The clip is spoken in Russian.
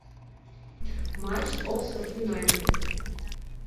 матч оксфорд юнайтед